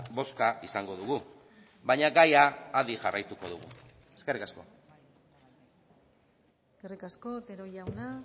bozka izango dugu baina gaia adi jarraituko dugu eskerrik asko eskerrik asko otero jauna